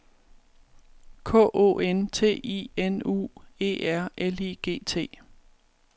K O N T I N U E R L I G T